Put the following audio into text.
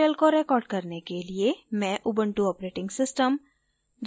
इस tutorial को record करने के लिए मैं उबंटु ऑपरेटिंग सिस्टम